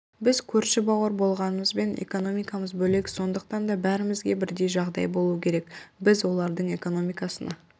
біз көрші бауыр болғанымызбен экономикамыз бөлек сондықтан да бәрімізге бірдей жағдай болуы керек біз олардың экономикасына